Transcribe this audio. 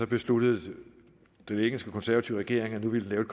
besluttede den engelske konservative regering at nu ville den